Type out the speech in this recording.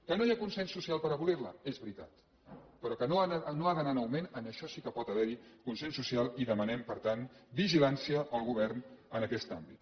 que no hi ha consens social per abolir la és veritat però que no ha d’anar en augment en això sí que pot haver hi consens social i demanem per tant vigilància al govern en aquest àmbit